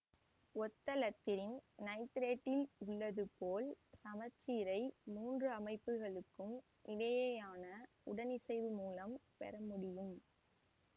ஒத்த இலத்திரன் நைத்திரேட்டில் உள்ளது போல் சமச்சீரை மூன்று அமைப்புகளுக்கும் இடையேயான உடனிசைவு மூலம் பெறமுடியும்